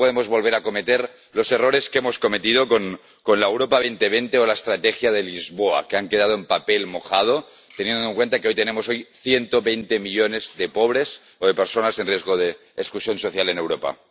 No podemos volver a cometer los errores que hemos cometido con la Europa 2020 o la Estrategia de Lisboa, que han quedado en papel mojado, teniendo en cuenta que hoy tenemos ciento veinte millones de pobres o de personas en riesgo de exclusión social en Europa.